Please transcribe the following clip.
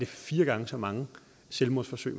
fire gange så mange selvmordsforsøg